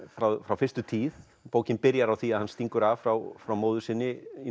frá frá fyrstu tíð bókin byrjar á því að hann stingur af frá frá móður sinni í